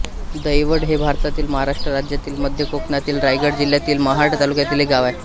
दहिवड हे भारतातील महाराष्ट्र राज्यातील मध्य कोकणातील रायगड जिल्ह्यातील महाड तालुक्यातील एक गाव आहे